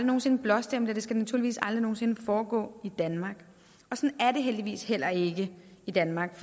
nogen sinde blåstemple det skal naturligvis aldrig nogen sinde foregå i danmark og sådan er det heldigvis heller ikke i danmark